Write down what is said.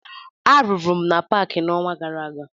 Arụrụ m na paakị n'ọnwa gara aga